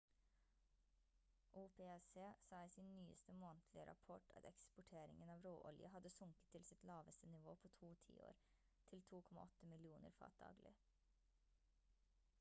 opec sa i sin nyeste månedlige rapport at eksporteringen av råolje hadde sunket til sitt laveste nivå på to tiår til 2,8 millioner fat daglig